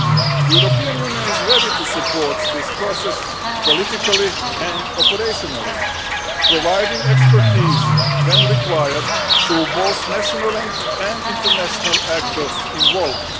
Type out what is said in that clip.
The European Union is ready to support this process politically and operationally, providing expertise when required to both national and international actors involved.